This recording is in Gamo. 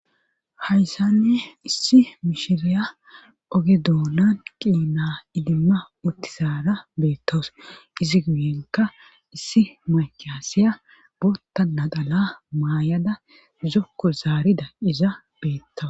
hayssanne issi mishiriya oge doonan qiina idimma uttisara beettowus izi guyenka issi maykaasiya bootta nadala maayada uzokko zaarida iza beettawa